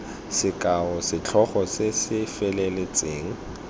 sekao setlhogo se se feletseng